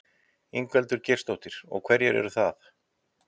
Ingveldur Geirsdóttir: Og hverjir eru það?